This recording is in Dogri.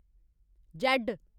जैड्ड